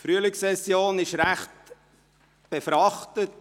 Die Frühlingssession ist ziemlich befrachtet.